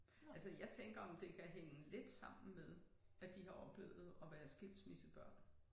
Altså jeg tænker om det kan hænge lidt sammen med at de har oplevet at være skilsmissebørn